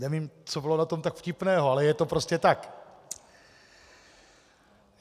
Nevím, co bylo na tom tak vtipného, ale je to prostě tak.